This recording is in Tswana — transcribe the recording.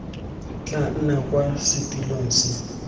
tla nna kwa setilong se